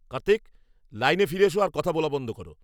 কার্তিক! লাইনে ফিরে এসো আর কথা বলা বন্ধ করো।